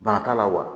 Bana t'a la wa